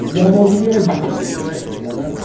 я в волгограде живу понимаешь и для нас